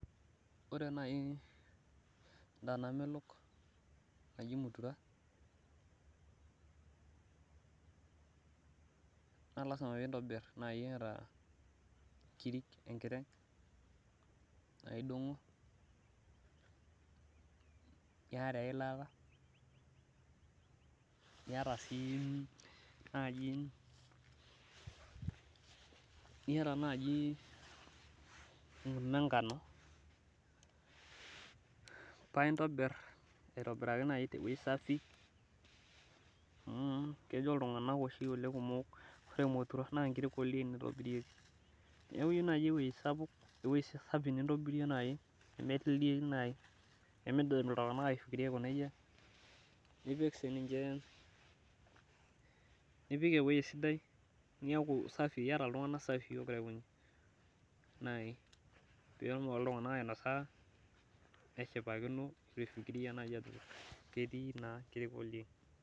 ore naaji edaa namelok naji mutura naa ilasima pee intobir too inkirik naidogo niyata eilata, niyata enkurma enkano, paa intobir aitobiraki naajiteweji safi, amu kejo iltunganak kumok inkiri oo ildien itobirieki, nipik eweji sidai, niaku safi pee etumoki iltunganak ainosa eshipakino.